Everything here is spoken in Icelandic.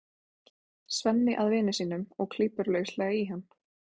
Svenni að vini sínum og klípur lauslega í hann.